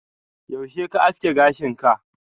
yaushe ka aske gashin ka?